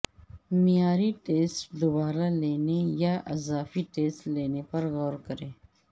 معیاری ٹیسٹ دوبارہ لینے یا اضافی ٹیسٹ لینے پر غور کریں